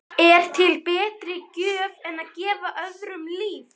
Er til betri gjöf en að gefa öðrum líf?